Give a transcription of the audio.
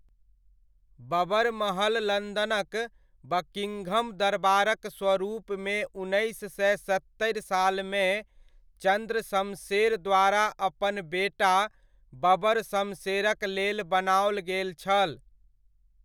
बबरमहल लन्दनक बकिङघम दरबारक स्वरूपमे उन्नैस सए सत्तरि सालमे चन्द्र सम्शेर द्वारा अपन बेटा बबरशमशेरक लेल बनाओल गेल छल।